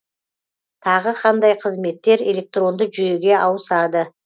тағы қандай қызметтер электронды жүйеге ауысады